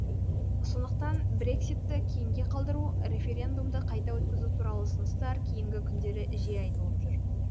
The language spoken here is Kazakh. сондықтан брекситті кейінге қалдыру референдумды қайта өткізу туралы ұсыныстар кейінгі күндері жиі айтылып жүр